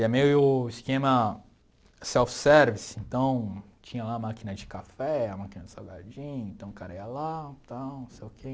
E é meio o esquema self-service, então tinha lá a máquina de café, a máquina de salgadinho, então o cara ia lá, tal, não sei o quê.